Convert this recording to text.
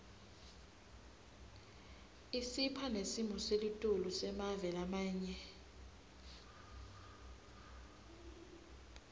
isipha nesimoselitulu semave lamanye